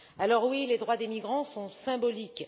Alors oui, les droits des migrants sont symboliques.